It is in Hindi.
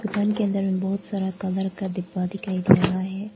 दुकान के अंदर में बहुत सारा कलर का डिब्बा दिखाई दे रहा है।